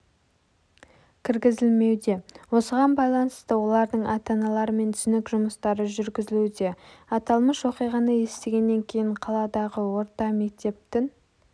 кіргізілмеуде осыған байланысты олардың ата-аналарымен түсінік жұмыстары жүргізілуде аталмыш оқиғаны естігеннен кейін қаладағы орта мектептің